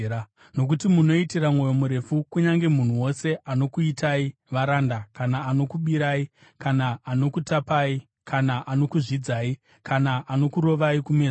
Nokuti munoitira mwoyo murefu kunyange munhu wose anokuitai varanda kana anokubirai kana anokutapai kana anokuzvidzai kana anokurovai kumeso.